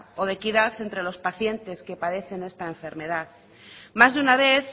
o de equidad entre los pacientes que padecen esta enfermedad más de una vez